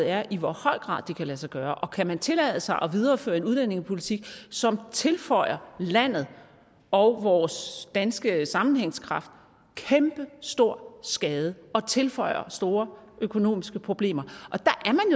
er i hvor høj grad det kan lade sig gøre og kan tillade sig at videreføre en udlændingepolitik som tilføjer landet og vores danske sammenhængskraft kæmpestor skade og tilføjer store økonomiske problemer